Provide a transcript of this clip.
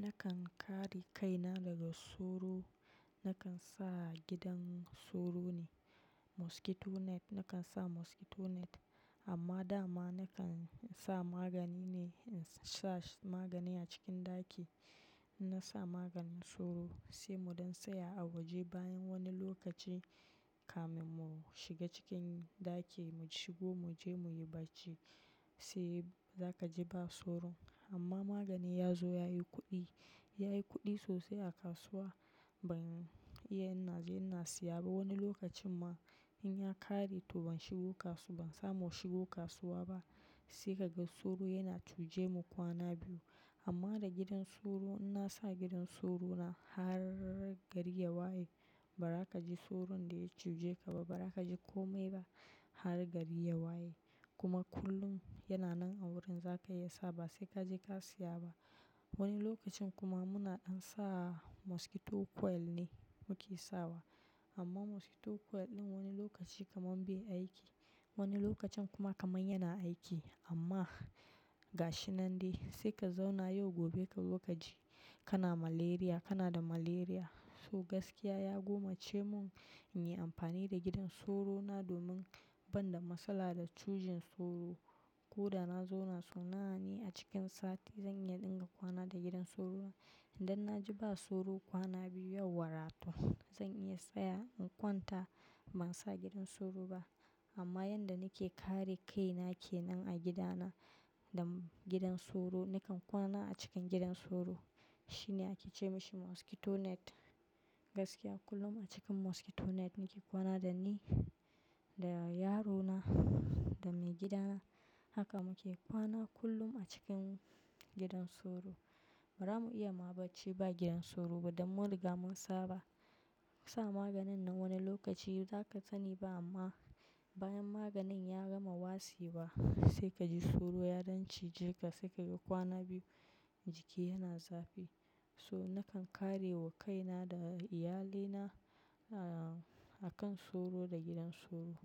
Nakan kare kaina daga soro, nakan sa gidan soro ne, mosquito net nakan sa mosquito net. Amma dama nakan sa magani ne, in sa magani a cikin ɗaki. In na sa maganin soro sai muɗan tsaya a waje bayan wani lokaci kamin mu shiga cikin ɗaki mu shigo mu je muyi bacci sai za ka ji ba soro. Amma magani ya zo yayi kuɗi, yayi kuɗi sosai a kasuwa ban iya ina je, ina siya ba. Wani lokacin ma in ya ƙare to ban shigo kasuwa, ban samu shigo kasuwa ba sai kaga soro yana cuje mu kwana biyu. Amma da gidan soro in na sa gidan soro na har gari ya waye ba ra ka ji soron da ya cije ka ba, ba ra ka ji komai ba har gari ya waye. Kuma kullum yana nan a wurin zaka iya sa ba sai ka je ka siya ba. Wani lokacin kuma muna ɗan sa mosquito coil ne muke sawa. Amma mosquito coil ɗin wani lokaci kaman bai aiki, wani lokacin kuma kaman yana aiki amma ga shi nan dai sai ka zauna yau gobe kazo kaji kana malaria, kana da malaria. So gaskiya ya gomace mun in yi amfani da gidan soro na domin ban da matsala da cujin soro. Ko da na zauna sau nawa ne a cikin sati zan iya ɗinga kwana da gidan soro. Idan na ji ba soro kwana biyu yauwa ra to zan iya saya in kwanta ban sa gidan soro ba. Amma yanda nake kare kaina kenan a gidana da gidan soro nakan kwana a cikin gidan soro. Shine ake ce mashi mosquito net. Gaskiya kullum a cikin mosquito net muke kwana da ni, da yarona, da maigidana. Haka muke kwana kullum a cikin gidan soro. Ba ra mu iya ma bacci ba gidan soro ba don mun riga mun saba. Mu sa maganin nan wani lokaci za ka sani ba amma bayan maganin ya gama wasewa sai ka ji soro ya dan ciji ka sai ka ga kwana biyu jiki yana zafi. So nakan kare wa kaina da iyalina, ah, akan soro da gidan soro.